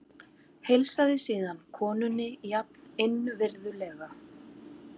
Heilsaði síðan konunni jafn innvirðulega.